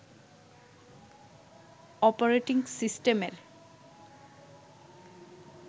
operating সিস্টেমের